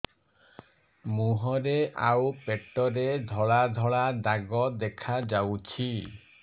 ମୁହଁରେ ଆଉ ପେଟରେ ଧଳା ଧଳା ଦାଗ ଦେଖାଯାଉଛି